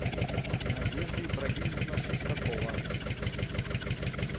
надежда ибрагимовна шестакова